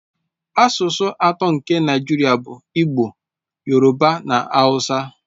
Asụsụ atọ nke Naijiria bụ Igbo, Yoruba na Hausa.